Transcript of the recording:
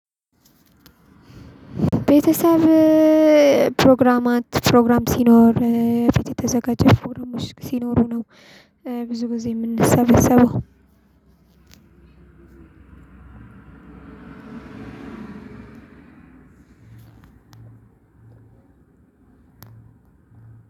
ቤተሰብ ፕሮግራማት ፕሮግራም ሲኖር ፊት የተዘጋጀ ፎርም ሲኖሩ ነው። ብዙ ጊዜ የምንሰበስበው አንድ ሁለት ሶስት አራት